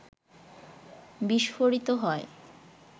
বিস্ফোরিত হয়